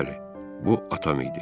Bəli, bu atam idi.